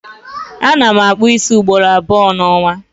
Ana m akpụ ísí ugboro abụọ n'ọnwa